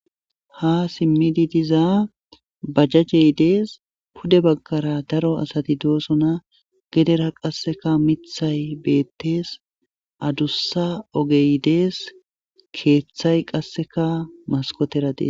ha simmidi diza bajajey dees pude baggara daro asati doosona gedera qasseka mithay beettes adussa ogey dees keeththay qasseka maskotera dees